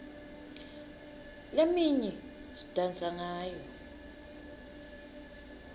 leminye sidansa ngayo